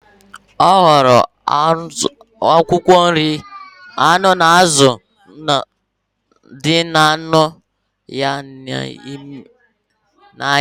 Ọ hụrụ akwụkwọ nri, anụ na azụ mmanụ dị na ahụ ya na anya